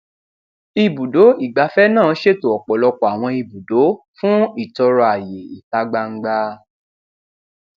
ibùdó ìgbafẹ náà ṣètò ọpọlọpọ àwọn ibùdó fún ìtọrọ àyè ìta gbangba